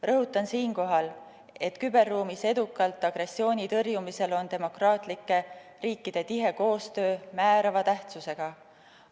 Rõhutan siinkohal, et küberruumis edukalt agressiooni tõrjumisel on demokraatlike riikide tihe koostöö määrava tähtsusega.